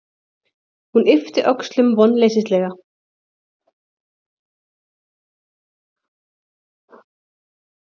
Hún yppti öxlum vonleysislega.